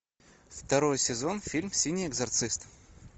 второй сезон фильм синий экзорцист